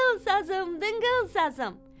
Dıngıl sazım, dıngıl sazım.